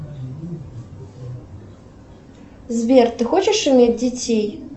сбер ты хочешь иметь детей